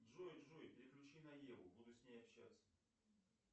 джой джой переключи на еву буду с ней общаться